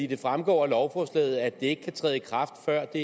det fremgår af lovforslaget at det ikke kan træde i kraft før det